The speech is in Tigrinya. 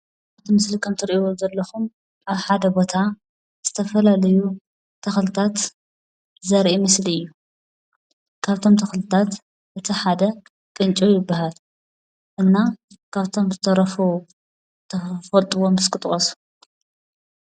ኣብቲ ምስሊ ከምትሪእይዎም ዘለኹም ኣብ ሓደ ቦታ ዝተፈላለዩ ተኽልታት ዘርኢ ምስሊ እዩ፡፡ እቶም ተኽልታት እቲ ሓደ ቅንጭብ ይባሃል፡፡ እና ካብቶም ዝተረፉ ትፈልጥዎም እስኪ ጥቐሱ፡፡